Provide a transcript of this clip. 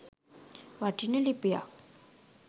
වටින ලිපියක්